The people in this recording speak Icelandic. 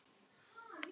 Þeir græða.